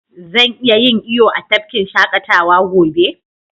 Zan iya yin iyo a tafkin shakatawa gobe?